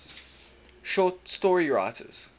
short story writers